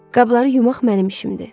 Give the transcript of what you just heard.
Qabları yumaq mənim işimdir.